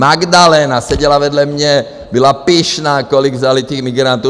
Magdalena seděla vedle mě, byla pyšná, kolik vzali těch migrantů.